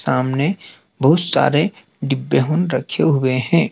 सामने बहुत सारे डिब्बे रखे हुए हैं।